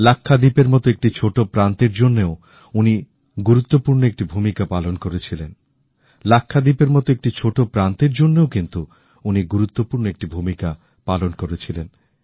লাক্ষাদ্বীপের মতো একটি ছোট প্রান্তের জন্যেও কিন্তূ উনি গুরুত্বপূর্ণ একটি ভূমিকা পালন করেছিলেন